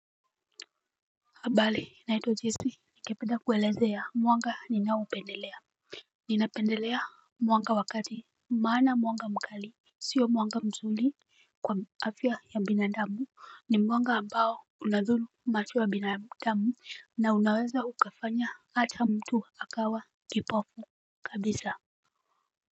Abale, naitwa Jesse. Ningependa kuelezea mwanga ninaoupendelea. Ninapendelea mwanga wakati maana mwanga mkali. Sio mwanga mzuli kwa afya ya binadamu. Ni mwanga ambao unadhuru macho ya binadamu na unaweza ukafanya hata mtu akawa kipofu kabisa.